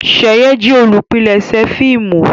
Sheyi jé olùpilèsè fíìmù.